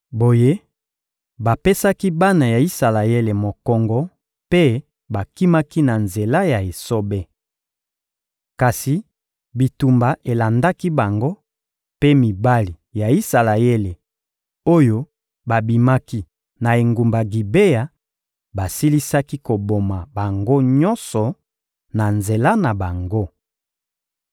Boye, bapesaki bana ya Isalaele mokongo mpe bakimaki na nzela ya esobe. Kasi bitumba elandaki bango, mpe mibali ya Isalaele, oyo babimaki na engumba Gibea, basilisaki koboma bango nyonso na nzela na bango.